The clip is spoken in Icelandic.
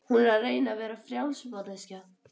Hún er að reyna að vera frjáls manneskja.